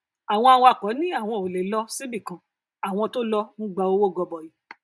àwọn awakọ ní àwọn ò le lọ síbi kan àwọn tó lọ ń gba owó gọbọi